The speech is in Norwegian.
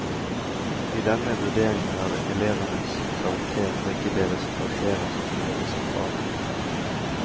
I denne vurderingen er det elevenes karakter og ikke deres karakterer som er det sentrale.